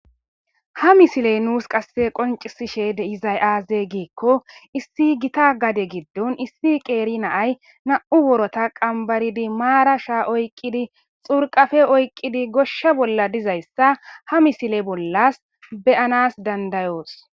ha misiley nuus qasse qoncisishe de izay aaze giikko issi gita gade giddon issi qeeri naay na7u worota qambaridi maara sha oykqqidi xurqafe oyqqidi goshsha bolla dizayssa ha misile bollas beyanas dandayoos